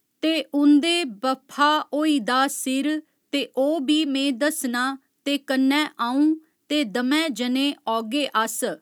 ते उं'दे बफ्फा होई दा सिर ते ओह् बी में दस्सना ते कन्नै अ'ऊं ते दमैं जनें औगे अस